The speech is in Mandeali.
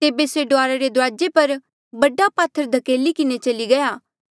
तेबे से डुआरा रे दुराजे पर बड्डा पात्थर धकेली किन्हें चली गया